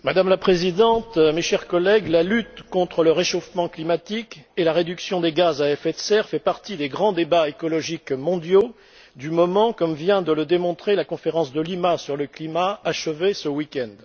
Madame la Présidente, mes chers collègues, la lutte contre le réchauffement climatique et la réduction des gaz à effet de serre font partie des grands débats écologiques mondiaux du moment, comme vient de le démontrer la conférence de Lima sur le climat, qui s'est achevée ce week end.